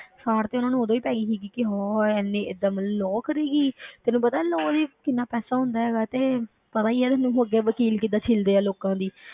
ਸਾੜ ਤੇ ਉਹਨੂੰ ਉਦੋਂ ਹੀ ਪੈ ਗਈ ਸੀਗੀ ਕਿ ਹਾ ਇੰਨੀ ਏਦਾਂ ਮਤਲਬ law ਕਰੇਗੀ ਤੈਨੂੰ ਪਤਾ ਹੈ law ਲਈ ਕਿੰਨਾ ਪੈਸਾ ਹੁੰਦਾ ਹੈਗਾ ਤੇ ਪਤਾ ਹੀ ਆ ਤੈਨੂੰ ਮੋਟੇ ਵਕੀਲ ਕਿੱਦਾਂ ਛਿੱਲਦੇ ਹੈ ਲੋਕਾਂ ਦੀ।